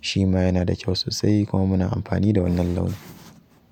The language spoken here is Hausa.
shi ma yana da kyau sosai kuma muna amfani da wannan launin.